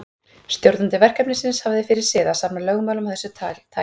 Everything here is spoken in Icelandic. Stjórnandi verkefnisins hafði fyrir sið að safna lögmálum af þessu tagi.